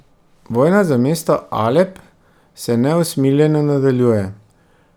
Vojna za mesto Alep se neusmiljeno nadaljuje.